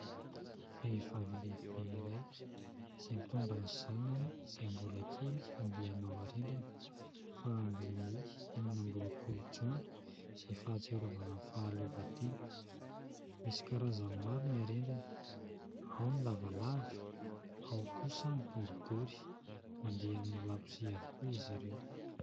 Vehivavy lehibe iray izay mitondra ny zanany izay mbola kely handeha hanao harendrina fa andron'ny enina amby roapolo Jiona izay fahatsiarovana ny fahaleovantena. Misy karazany maro ny harendrina : ao ny lavalava, ao kosa ny boribory. Mandeha amin'ny labozia avokoa izy ireo.